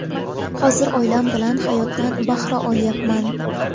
Hozir oilam bilan hayotdan bahra olyapman.